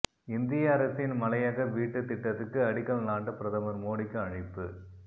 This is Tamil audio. இந்திய அரசின் மலையக வீட்டு திட்டத்துக்கு அடிக்கல் நாட்ட பிரதமர் மோடிக்கு அழைப்பு